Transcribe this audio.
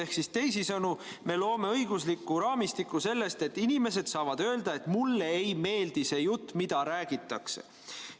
Ehk teisisõnu, me loome õigusliku raamistiku selle kohta, et inimesed saavad öelda, et mulle ei meeldi see jutt, mida räägitakse.